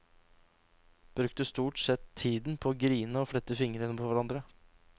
Brukte stort sett tiden på å grine og flette fingre på hverandre.